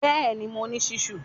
Bẹ́ẹ̀ni, mo ní ṣísù?